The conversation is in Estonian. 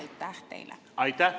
Aitäh!